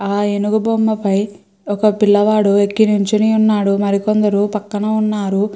ఆ ఏనుగు బొమ్మపై ఒక పిల్లవాడు ఎక్కి నించొని వున్నాడు మరి కొందరు పక్కన వున్నారు.